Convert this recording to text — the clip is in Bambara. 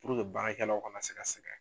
Puruke baarakɛ law kana se ka sɛgɛn.